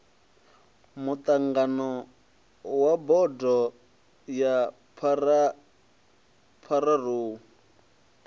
muṱangano wa bodo ya pharou